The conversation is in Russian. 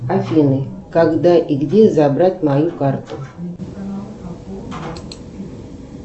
афина когда и где забрать мою карту